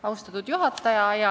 Austatud juhataja!